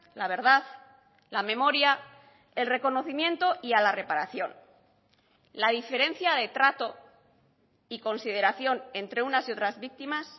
la verdad la memoria el reconocimiento y a la reparación la diferencia de trato y consideración entre unas y otras víctimas